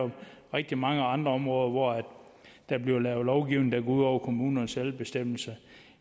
rigtig mange andre områder hvor der bliver lavet lovgivning der går ud over kommunernes selvbestemmelse